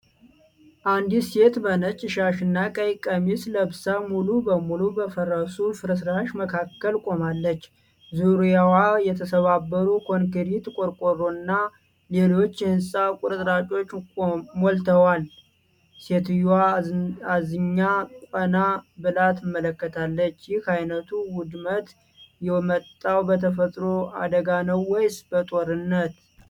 አንዲት ሴት በነጭ ሻሽና ቀይ ቀሚስ ለብሳ ሙሉ በሙሉ በፈረሱ ፍርስራሽ መካከል ቆማለች። ዙሪያዋ የተሰባበሩ ኮንክሪት፣ ቆርቆሮና ሌሎች የህንጻ ቁርጥራጮች ሞልተዋል። ሴትየዋ አዝኛ ቀና ብላ ትመለከታለች። ይህ አይነቱ ውድመት የመጣው በተፈጥሮ አደጋ ነው ወይስ በጦርነት?